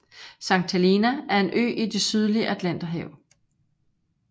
Sankt Helena er en ø i det sydlige Atlanterhavet